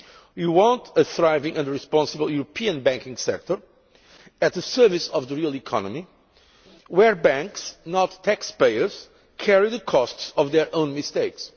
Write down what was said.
We want a thriving and responsible European banking sector, at the service of the real economy, where banks not taxpayers carry the costs of their own mistakes.